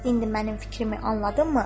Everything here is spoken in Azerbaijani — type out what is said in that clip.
İndi mənim fikrimi anladınmı?